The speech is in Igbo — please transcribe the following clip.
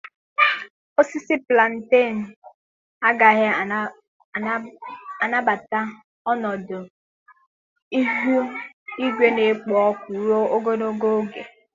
Osisi Plantenu agaghị anabata ọnọdụ ihu igwe na-ekpo ọkụ ruo ogologo oge.